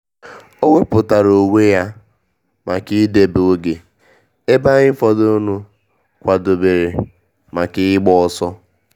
Owepụtara onwe ya maka idebe oge ebe anyị fọdụrụnụ kwadebere maka ịgba ọsọ